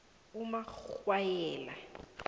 umakghwanyela